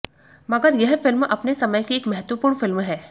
मगर यह फिल्म अपने समय की एक महत्वपूर्ण फिल्म है